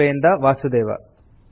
ಬಾಂಬೆಯಿಂದ ವಾಸುದೇವ